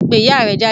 Pe iya rẹ jáde